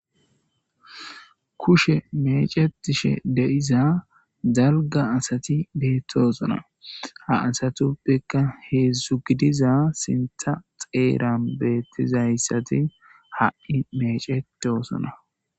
kushe mecetishe deiza zalga asati beettosona ha asatuppekka heedzdzu gidiza sintha xeeran beettizayssati ha7i mecetosona